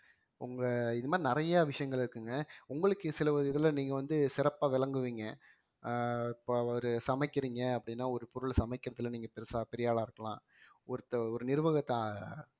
உங்க இது மாதிரி நிறைய விஷயங்கள் இருக்குங்க உங்களுக்கு சில இதுல நீங்க வந்து சிறப்பா விளங்குவீங்க அஹ் இப்ப ஒரு சமைக்கிறீங்க அப்படின்னா ஒரு பொருள் சமைக்கிறதுல நீங்க பெருசா பெரிய ஆளா இருக்கலாம் ஒருத்தன் ஒரு நிர்வகத்த